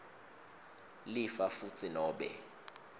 lifa futsi nobe